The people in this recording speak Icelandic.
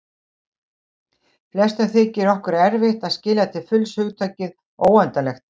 Flestum þykir okkur erfitt að skilja til fulls hugtakið óendanlegt.